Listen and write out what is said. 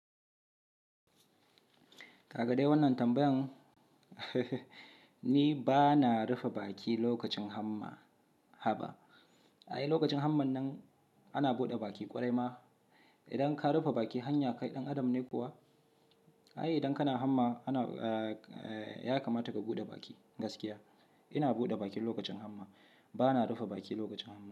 Kagadai wannan tambayan ni ba na rufe baki lokacin hamma ba. Ai lokacin hamman nan ana buɗe baki ƙwarai ma. Idan ka rufe baki hanya kai ɗan adam ne kuwa? Ai idan kana hamma ana, ya kamata ka buɗe baki gaskiya. Ina buɗe baki lokacin hamma, ba na rufe baki lokacin hamma.